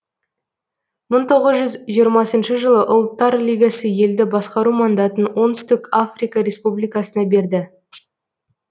мың тоғыз жүз жиырмасыншы жылы ұлттар лигасы елді басқару мандатын оңтүстік африка республикасына берді